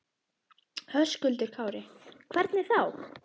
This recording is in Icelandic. Höskuldur Kári: Hvernig þá?